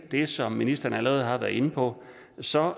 det som ministeren allerede har været inde på så